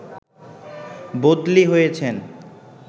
বদলি হয়েছেন